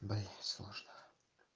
блядь сложно